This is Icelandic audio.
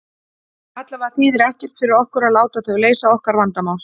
Allavega þýðir ekkert fyrir okkur að láta þau leysa okkar vandamál.